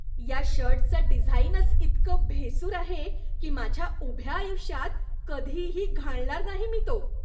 या शर्टचं डिझाईनच इतकं भेसूर आहे की माझ्या उभ्या आयुष्यात कधीही घालणार नाही मी तो.